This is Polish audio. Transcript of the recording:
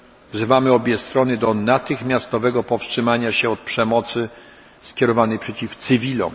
Wzywamy obie strony do natychmiastowego powstrzymania się od przemocy skierowanej przeciw cywilom.